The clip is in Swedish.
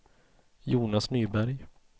Jonas Nyberg